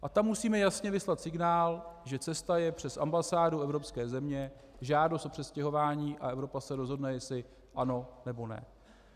A tam musíme jasně vyslat signál, že cesta je přes ambasády evropských zemí, žádost o přestěhování, a Evropa se rozhodna, jestli ano, nebo ne.